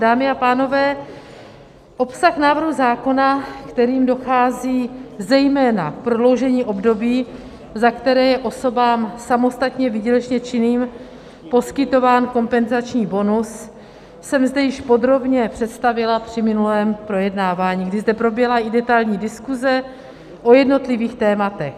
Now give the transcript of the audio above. Dámy a pánové, obsah návrhu zákona, kterým dochází zejména k prodloužení období, za které je osobám samostatně výdělečně činným poskytován kompenzační bonus, jsem zde již podrobně představila při minulém projednávání, kdy zde proběhla i detailní diskuze o jednotlivých tématech.